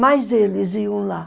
Mas eles iam lá.